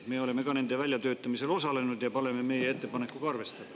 Me oleme ka nende väljatöötamisel osalenud ja palume meie ettepanekuga arvestada.